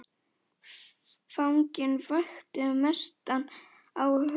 Fanginn vakti mestan áhuga þeirra.